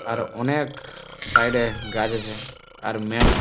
আর অনেএএএক সাইড এ গাছ আছে আর মেন --